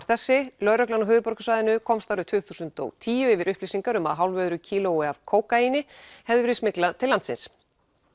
þessi lögreglan á höfuðborgarsvæðinu komst árið tvö þúsund og tíu yfir upplýsingar um að hálfu öðru kílói af kókaíni hefði verið smyglað til landsins